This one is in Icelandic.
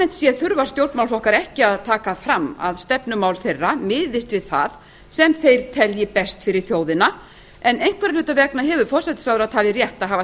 séð þurfa stjórnmálaflokkar ekki að taka fram að stefnumál þeirra miðist við það sem þeir telja best fyrir þjóðina en einhverra hluta vegna hefur forsætisráðherra talið rétt að hafa